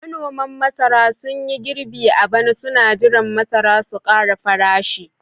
manoman masara sun yi girbi a bana suna jiran masara su kara farashi